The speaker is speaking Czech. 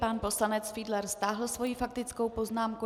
Pan poslanec Fiedler stáhl svoji faktickou poznámku.